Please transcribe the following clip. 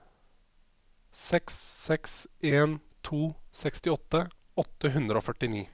seks seks en to sekstiåtte åtte hundre og førtini